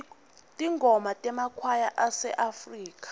tingoma temakwaya aseafrika